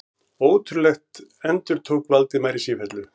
Ótrúlegt endurtók Valdimar í sífellu.